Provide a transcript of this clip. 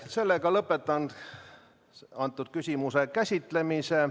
Sellega lõpetan antud küsimuse käsitlemise.